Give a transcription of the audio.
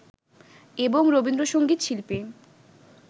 এবং রবীন্দ্রসংগীত শিল্পী